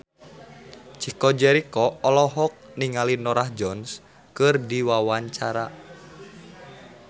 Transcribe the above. Chico Jericho olohok ningali Norah Jones keur diwawancara